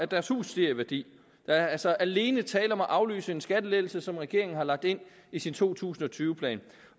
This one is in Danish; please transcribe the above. deres hus stiger i værdi der er altså alene tale om at aflyse en skattelettelse som regeringen har lagt ind i sin to tusind og tyve plan